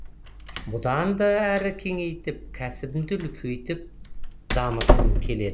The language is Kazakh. бұдан да әрі кеңейтіп кәсібімді үлкейтіп дамытқым келеді